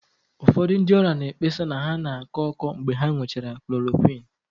Ụfọdụ ndị ọrịa na-ekpesa na ha na-akọ ọkọ mgbe ha ṅụchara chloroquine